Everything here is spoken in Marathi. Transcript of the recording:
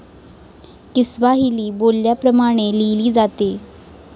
किस्वाहिली बोलल्या प्रमाणे लिहिली जाते.